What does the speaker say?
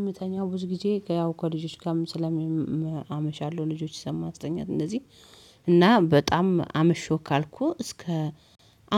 እምተኛው ብዙ ጊዜ ያው እኮ ከልጆች ጋም ስለሚያ አመሻለሁ ልጆች እስከማስተኛ እንደዚህ እና በጣም አመሽው ካልኩ እስከ